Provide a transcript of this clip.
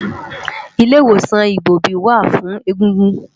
Ilé Iwósán Igbóbi wá fún égúngún